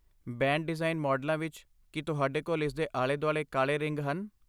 Band design ਮਾਡਲਾਂ ਵਿੱਚ, ਕੀ ਤੁਹਾਡੇ ਕੋਲ ਇਸਦੇ ਆਲੇ ਦੁਆਲੇ ਕਾਲੇ ਰਿੰਗ ਹਨ?